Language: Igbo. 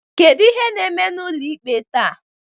kedu ihe na-eme n'ụlọikpe taa?